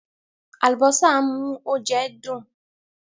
Àlùbósà ń mú oúnjẹ dùn.